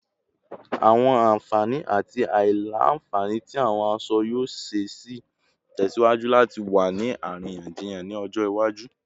Awọn anfani ati aila-nfani ti awọn aṣọ yoo ṣee ṣe tẹsiwaju lati wa ni ariyanjiyan ni ọjọ iwaju